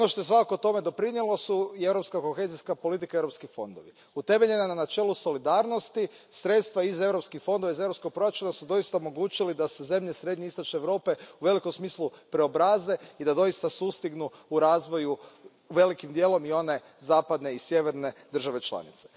Ono što je svakako tome doprinijelo su i europska kohezijska politika i europski fondovi. Utemeljena na načelu solidarnosti, sredstva iz europskih fondova iz europskog proračuna su doista omogućila da se zemlje srednje i istočne Europe u velikom smislu preobraze i da doista sustignu u razvoju velikim dijelom i one zapadne i sjeverne države članice.